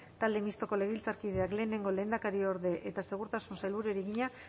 talde mistoko legebiltzarkideak lehenengo lehendakariorde eta segurtasun sailburuari egina